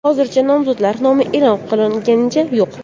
Hozircha nomzodlar nomi e’lon qilinganicha yo‘q.